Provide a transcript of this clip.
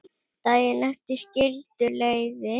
Daginn eftir skildu leiðir.